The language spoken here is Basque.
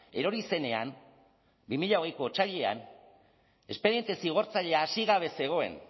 erori zenean bi mila hogeiko otsailean espediente zigortzailea hasi gabe zegoen